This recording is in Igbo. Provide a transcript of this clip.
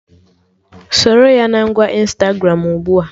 Soro ya na ngwa Ịnstagramụ ugbua!